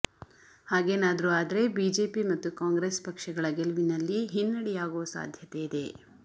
ಹಾಗೇನಾದ್ರೂ ಆದ್ರೆ ಬಿಜೆಪಿ ಮತ್ತು ಕಾಂಗ್ರೆಸ್ ಪಕ್ಷಗಳ ಗೆಲವಿನಲ್ಲಿ ಹಿನ್ನೆಡೆಯಾಗೋ ಸಾಧ್ಯತೆಯಿದೆ